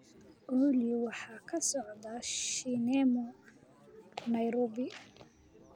olly waxa ka socda shineemo nairobi